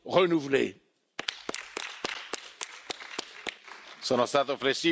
Sono stato flessibile per il primo giro di interventi, siccome il voto è previsto per le